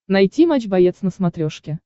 найти матч боец на смотрешке